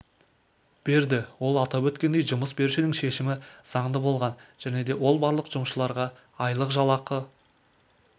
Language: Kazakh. берді ол атап өткендей жұмыс берушінің шешімі заңды болған және де ол барлық жұмысшыларға айлықжалақы